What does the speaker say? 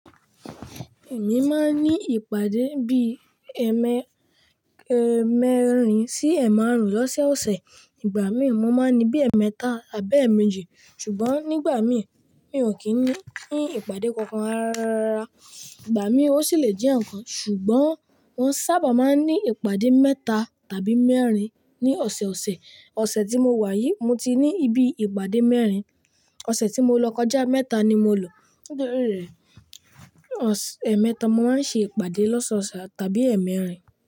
Èmi máa ń ní ìpàdé bí i ẹ́ẹ̀mẹrin sí ẹ́ márùn-ún lọ́sẹ̀ ọ̀sẹ̀. Ìgbà mí ì mọ máa ní bí i ẹ́ẹ̀mẹta tàbí ẹ́ẹ̀méjì. Ṣùgbọ́n nígbà mí ì, mi ò kí ń ní ìpàdé kankan rárá. Ìgbà mí ò sì lè jẹ́ ẹ̀ẹ̀kan. Ṣùgbọ́n mo sábà máa ń ní ìpàdé mẹ́ta tàbí mẹ́rin ní ọ̀sẹ̀ ọ̀sẹ̀. Ọ̀sẹ̀ tí mo wà yìí, mo ti ní ibi ìpàdé mẹ́rin. Ọ̀sẹ̀ tí mo lọ kọjá, mẹ́ta ni mo lọ. Nítorí rẹ̀, ẹ́ẹ̀mẹta máa ń ṣe ìpàdé lọ́sẹ̀ ọ̀sẹ̀ tàbí ẹ́ẹ̀mẹ́rin.